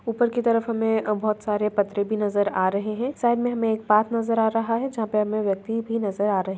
ऊपर की तरफ हमे अ बहुत सारे पत्र भी नजर आ रहे है साइड मे हमे एक पार्क नजर आ रहा है जहाँ पे हमे व्यक्ति भी नजर आ रहे।